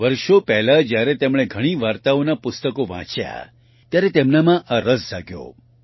વર્ષો પહેલા જ્યારે તેમણે ઘણી વાર્તાઓના પુસ્તકો વાંચ્યા ત્યારે તેમનામાં આ રસ જાગ્યો